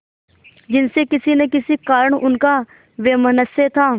जिनसे किसी न किसी कारण उनका वैमनस्य था